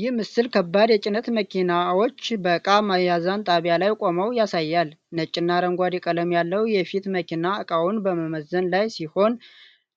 ይህ ምስል ከባድ የጭነት መኪናዎች በእቃ ሚዛን ጣቢያ ላይ ቆመው ያሳያል። ነጭና አረንጓዴ ቀለም ያለው የፊት መኪና እቃውን በመመዘን ላይ ሲሆን፥